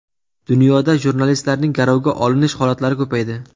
Dunyoda jurnalistlarning garovga olinish holatlari ko‘paydi.